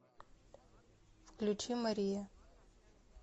включи мария